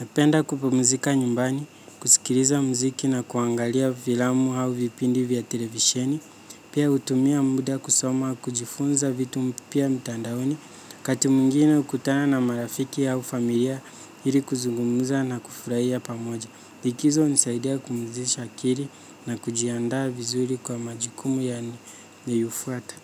Napenda kupumzika nyumbani, kusikiriza muziki na kuangalia vilamu hau vipindi vya televisheni. Pia utumia muda kusoma kujifunza vitu mpya mtandaoni. Kati mwingine hukutana na marafiki hau familia hili kuzugumuza na kufuraia pamoja. Likizo hunisaidia kumuzisha akiri na kujiandaa vizuri kwa majikumu yanayofuata.